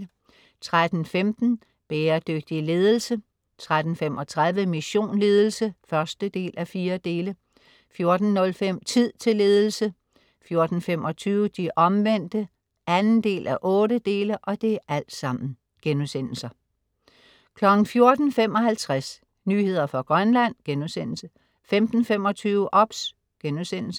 13.15 Bæredygtig ledelse* 13.35 Mission Ledelse 1:4* 14.05 Tid til ledelse* 14.25 De Omvendte 2:8* 14.55 Nyheder fra Grønland* 15.25 OBS*